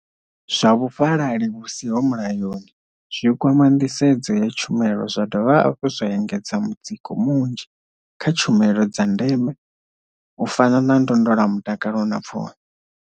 Zwa vhufhalali vhu siho mulayoni zwi kwama nḓisedzo ya tshumelo zwa dovha hafhu zwa engedza mutsiko munzhi kha tshumelo dza ndeme u fana na ndondolamutakalo na pfunzo.